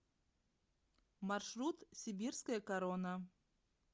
маршрут сибирская корона